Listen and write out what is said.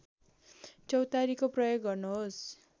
चौतारीको प्रयोग गर्नुहोस्